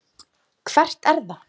Hvert er það?